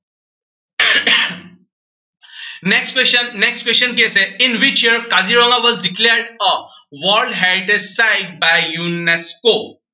next question, next question কি আছে in which year Kaziranga was declared as world heritage sites by UNESCO